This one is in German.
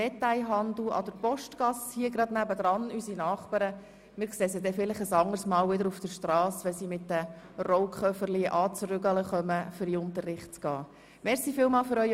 Die einfache Steuer für die Gewinnsteuer beträgt a 1,55 Prozent auf 20 Prozent des steuerbaren Reingewinns, mindestens jedoch auf 20 000 Franken, b 3,1 Prozent auf den weiteren 100 000 Franken, c 4,0 Prozent auf dem übrigen Reingewinn.